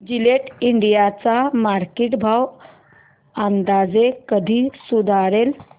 Gillette India चा market भाव अंदाजे कधी सुधारेल